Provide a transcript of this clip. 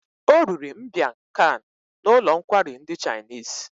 O riri mbiang khan n'ụlọ nkwari ndi chinese